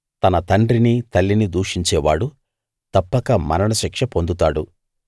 తన తండ్రిని తల్లిని దూషించేవాడు తప్పక మరణశిక్ష పొందుతాడు